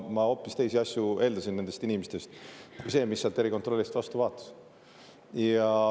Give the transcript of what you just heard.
Ma eeldasin nendest inimestest hoopis teisi asju, kui seda, mis sealt erikontrollist vastu vaatas.